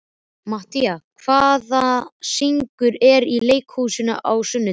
Mattíana, hvaða sýningar eru í leikhúsinu á sunnudaginn?